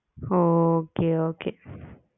ah okay okay